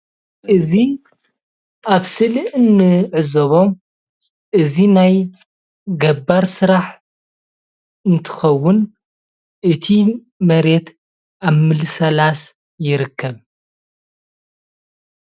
እዚ ኣብ ስእሊ እንዕዘቦም እዚ ናይ ገባር ስራሕ እንትኸዉን እቲ መሬት ኣብ ምልስላስ ይርከብ።